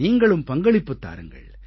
நீங்களும் பங்களிப்புத் தாருங்கள்